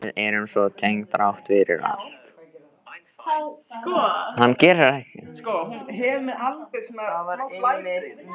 Við erum svo tengd þrátt fyrir allt.